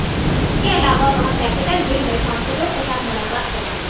इसके अलावा वह कैपिटल हिल में सांसदों के साथ मुलाकात करेंगे